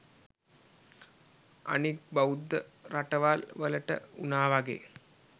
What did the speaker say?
අනික් බෞද්ධ රටවල් වලට උනා වගේ